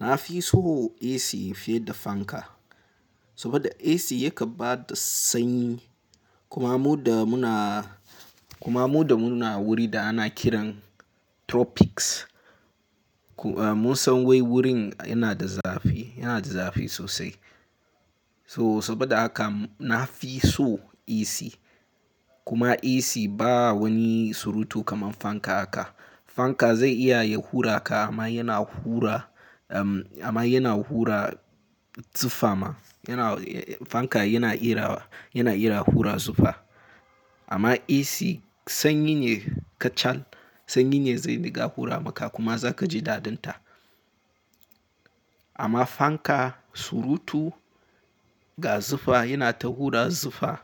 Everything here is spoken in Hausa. Na fi son AC fiye da fanka, saboda AC ya kan bada sanyi kuma mu da muna, kuma mu da muna wuri da ana kiran tropics. Mun san wai wurin yana da zafi, yana da zafi sosai. So saboda haka na fi son AC kuma AC ba wani surutu kamar fanka haka. Fanka zai iya ya hura ka amma yana hura, amma yana hura zufa ma. Fanka yana iya, yana iya hura zufa. Amma AC sanyi ne ka cal, sanyi ne zai rinƙa hura maka kuma za ka ji dadin ta. Amma fanka surutu ga zufa yana ta hura zufa,